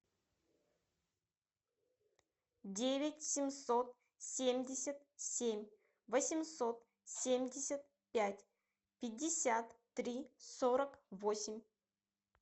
девять семьсот семьдесят семь восемьсот семьдесят пять пятьдесят три сорок восемь